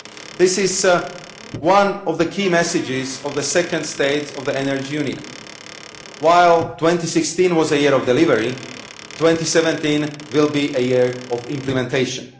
This is one of the key messages of the second State of the Energy Union while 2016 was a year of delivery', 2017 will be a year of implementation'.